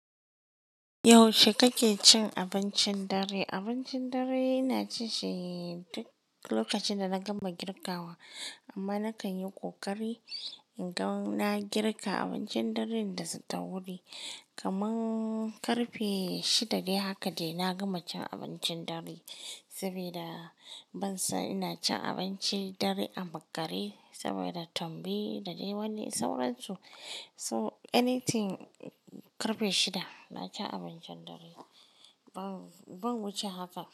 Yaushe kake cin abincin dare? Abincin dare ina ci shi duk lokacin da na gama girkawa. Amma na kan yi ƙoƙari in ga na girka abincin dare da sata hudu. Kaman karfe shida dai haka dai na gama cin abincin dare. Saboda ban so ina cin abinci dare a makare saboda tambi da dai wani sauransu. So anything karfe shida na ci abincin dare. Ban, ban wuce haka.